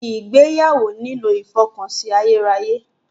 Ìgbéyàwó nílò ìfọkànsìn ayérayé.